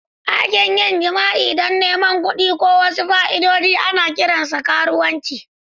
Aikin yin jima'i don neman kuɗi ko wasu fa'idodi ana kiransa karuwanci.